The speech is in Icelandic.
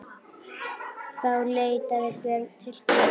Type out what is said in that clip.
Þá leitaði Björn til Guðs.